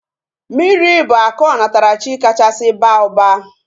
Mmiri bụ akụ onatarachi kachasị baa ụba